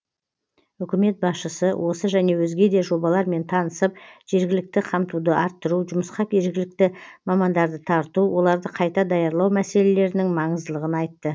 үкімет басшысы осы және өзге де жобалармен танысып жергілікті қамтуды арттыру жұмысқа жергілікті мамандарды тарту оларды қайта даярлау мәселелерінің маңыздылығын айтты